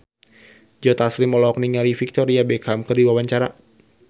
Joe Taslim olohok ningali Victoria Beckham keur diwawancara